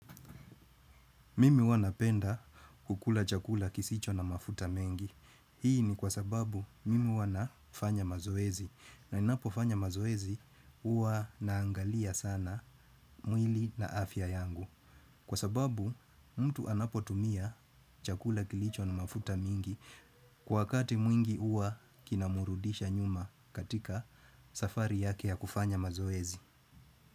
Mimi huwa napenda kukula chakula kisicho na mafuta mengi. Hii ni kwa sababu mimi huwa nafanya mazoezi. Na ninapofanya mazoezi huwa naangalia sana mwili na afya yangu. Kwa sababu mtu anapotumia chakula kilicho na mafuta mengi kwa wakati mwingi uwa kinamurudisha nyuma katika safari yake ya kufanya mazoezi.